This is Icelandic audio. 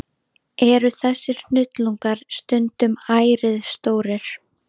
Eru þessir hnullungar stundum ærið stórir.